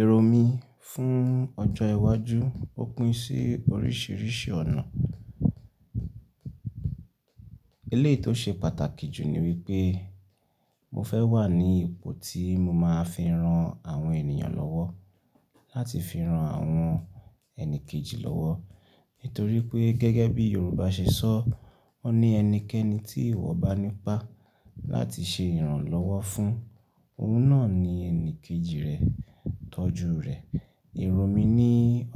Èrò mi fún ọjọ́ iwájú, ó pín sí oríṣìíríṣìí ọ̀nà. Eléyìí tó ṣe pàtàkì jù ni wípé mo fẹ́ wà ní ipò tí mo máa fi ran àwọn ènìyàn lọ́wọ́, láti fi ran àwọn ẹni kejì lọ́wọ́. Nítorí pé gẹ́gẹ́ bí Yorùbá ṣe sọ, wọ́n ní ẹnikẹ́ni tí ìwọ bá nípa láti ṣe ìrànlọ́wọ́ fún, òun náà ni ẹnìkejì rẹ tọ́jú rẹ. Èrò mi ní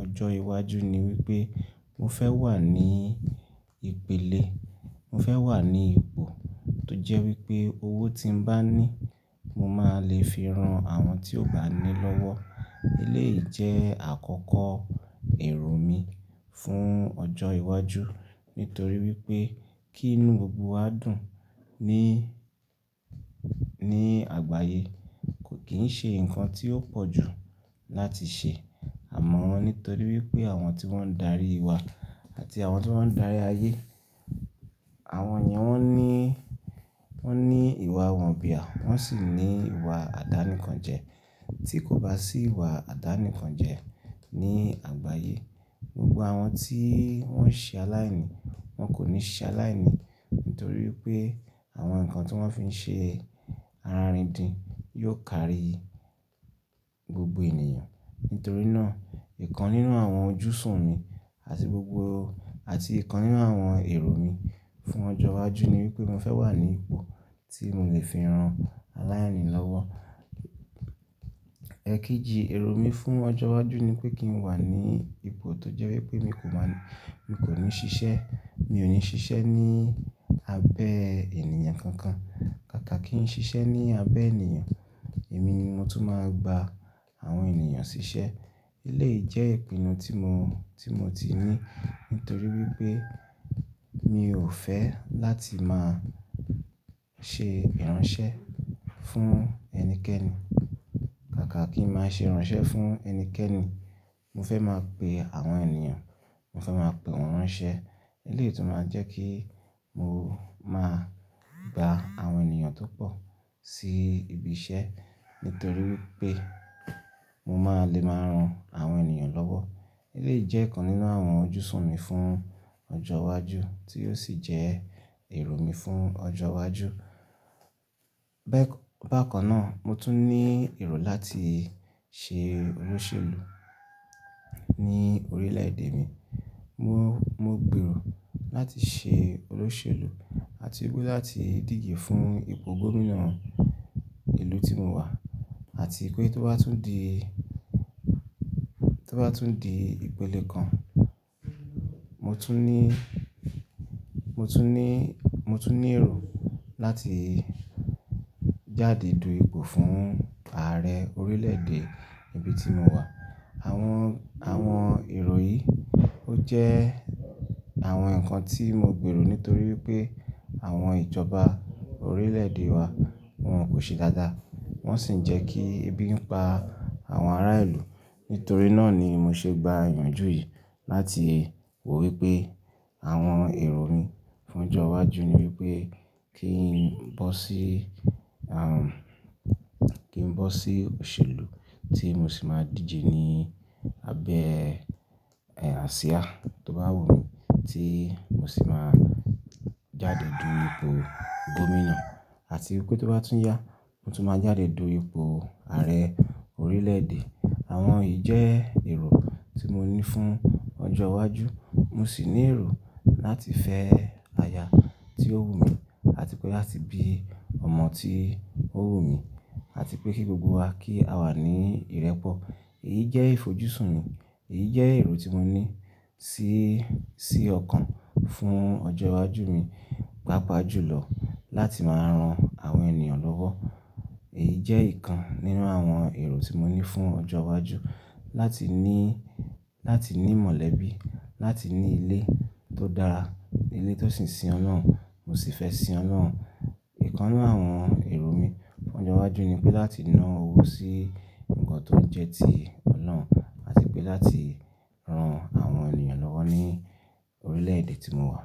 ọjọ́ iwájú ni wípé mo fẹ́ wà ní ìpele, mo fẹ́ wà ní ipò tó jẹ́ wípé owó tí ń bá ní, mo máa le fi ran àwọn tí ò bá ní lọ́wọ́. Eléyìí jẹ́ àkọ́kọ́ èrò mi fún ọjọ́ iwájú. Nítorí wípé kí inú gbogbo wa dùn ni, ni àgbáyé kò kì ń ṣe ǹkan tí ó pọ̀ jù láti ṣe. Àmọ́, nítorí wípé àwọn tí wón ń darí wa àti àwọn tí wón ń darí ayé, àwọn yẹn wón ní, wón ní ìwà wọ̀nbiá, wón sì ní ìwà àdáni kan jẹ. Tí kò bá sí ìwà àdáni kan jẹ ní àgbáyé, gbogbo àwọn tí wón ṣe aláìní wọn kò ní ṣe aláìní. Nítorí wípé àwọn ǹkan tí wón fi ń ṣe ara rin din yóò kárí gbogbo ènìyàn. Nítorí náà ìkan nínú àwọn ojúṣùn mi àti gbogbo, àti ìkan nínú àwọn èrò mi fún ọjọ́ iwájú ni wípé mo fẹ́ wà ní ipò tí mò lè fi ran aláìní lọ́wọ́. Ẹ̀kejì èrò mi fún ọjọ́ iwájú ni pé kí n wà ní ipò tó jẹ́ wípé mi kò máa ní, mi kò ní ṣiṣẹ́, mi ò ní ṣiṣẹ́ ní abẹ́ ènìyàn kankan. Kàkà kí n ṣiṣẹ́ ní abẹ́ ènìyàn, èmi ni mo tún máa gba àwọn ènìyàn ṣiṣẹ́. Eléyìí jẹ́ ìpinnu tí mo, tí mo ti ní. Nítorí wípé mi ò fẹ́ láti máa ṣe ìránṣẹ́ fún ẹnikẹ́ni. Kàkà kí n máa ṣe ìránṣẹ́ fún ẹnikẹ́ni, mo fẹ́ máa pe àwọn ènìyàn, mo fẹ́ máa pe wọn ránṣẹ́. Eléyìí tún máa ń jẹ́ kí mo máa gba àwọn ènìyàn tó pọ̀ sí ibi iṣẹ́. Nítorí wípé mo máa le máa ran àwọn ènìyàn lọ́wọ́. Eléyìí jẹ́ ìkan nínú àwọn ojúṣù mi fún ọjọ́ iwájú tí yóò sì jẹ́ èrò mi fún ọjọ́ iwájú. Bẹ́, bákan náà mo tún ní èrò láti ṣe olóṣèlú ní orílẹ̀-èdè mi. Mo, mo gbèrò láti ṣe olóṣèlú àti pé láti dìje fún ipò gómìnà ìlú tí mo wà. Àti pé tó bá tún di, tó bá tún di ìpele kan, mo tún ní, mo tún ní, mo tún ní èrò láti jáde du ipò fún Ààrẹ orílẹ̀-èdè ibi tí mo wà. Àwọn, àwọn èrò yìí ó jẹ́ àwọn ǹkan tí mo gbèrò nítorí wípé àwọn ìjọba orílẹ̀-èdè wa wọn kò ṣe dáadáa. Wọ́n sì ń jẹ́ kí ebi ń pa àwọn ará ìlú. Nítorí náà ni mo ṣe gba ìyànjú yìí láti wò wípé àwọn èrò mi fún ọjọ́ iwájú ni wípé kí n bọ́ sí, àwọn, kí n bọ́ sí òṣèlú tí mo sì máa dìje ní abẹ́, asíá tó bá wù mí tí mo sì máa jáde du ipò gómìnà. Àti pé tó bá tún yá, mo tún máa jáde do ipò Ààrẹ orílẹ̀-èdè. Àwọn yìí jẹ́ èrò tí mo ní fún ọjọ́ iwájú. Mo sì ní èrò láti fẹ́ aya tí ó wù mí àti pé láti bí ọmọ tí ó wù mí àti pé kí gbogbo wa kí a wà ní ìrẹ́pọ̀. Èyí jẹ́ ìfojúsùn mi, èyí jẹ́ èrò tí mo ní sí, sí ọkàn fún ọjọ́ iwájú mi. Pápa jùlọ láti máa ran àwọn ènìyàn lọ́wọ́. Èyí jẹ́ ìkan nínú àwọn èrò tí mo ní fún ọjọ́ iwájú láti ní, láti ní mọ̀lẹ́bí, láti ní ilé tó dára, ilé tó sì ń sin Ọlọ́run, mo sì fẹ́ sin Ọlọ́run. Ìkan nínú àwọn èrò mi fún ọjọ́ iwájú ni pé láti ná owó sí ǹkan tó jẹ́ ti Ọlọ́run àti pé láti ran àwọn ènìyàn lọ́wọ́ ní orílẹ̀-èdè tí mo wà.